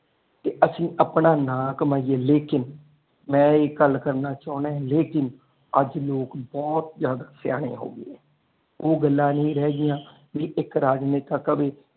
ਤੇ ਅਸੀਂ ਆਪਣਾ ਨਾਹ ਕਮਾਈਏ ਲੇਕਿਨ ਮੈਂ ਇਹ ਗੱਲ ਕਰਨਾ ਚਾਹੁੰਦਾ ਲੇਕਿਨ ਅੱਜ ਲੋਕ ਬਹੁਤ ਜ਼ਿਆਦਾ ਸਿਆਣੇ ਹੋ ਗਏ ਨੇ ਉਹ ਗੱਲਾਂ ਨਹੀ ਰਹਿ ਗਈਆਂ ਵੀ ਇਕ ਰਾਜ ਨੇਤਾ ਕਵੇ।